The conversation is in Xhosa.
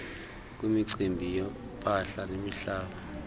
kwimicimbi yempahla nemihlaba